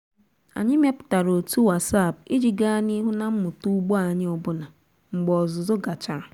anyị mepụtara otu whatsapp iji gaa n'ihu na mmụta ugbo anyị ọbụna mgbe ọzụzụ gachara.